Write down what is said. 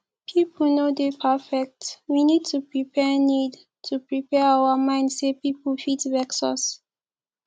pipo no dey perfect we need to prepare need to prepare our mind sey pipo fit vex us